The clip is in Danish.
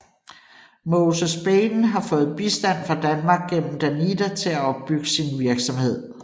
Moses Baiden har fået bistand fra Danmark gennem Danida til at opbygge sin virksomhed